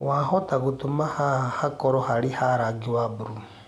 wahota gutũma haha hakorwo harĩ ha rangĩ wa burũũ